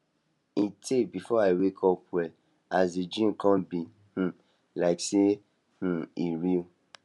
e tey before i wake up well as the dream kon be um like sey um e real